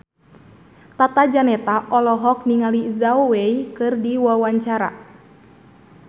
Tata Janeta olohok ningali Zhao Wei keur diwawancara